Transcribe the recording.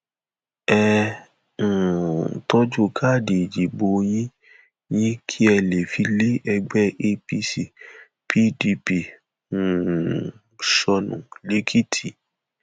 ẹ um tọjú káàdì ìdìbò yín yín kí ẹ lè fi lé ẹgbẹ apc pdp um sọnù lẹkìtì